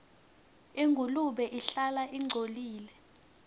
ingulube ihlala ingcolile